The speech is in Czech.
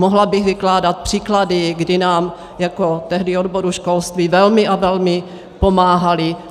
Mohla bych vykládat příklady, kdy nám jako tehdy odboru školství velmi a velmi pomáhali.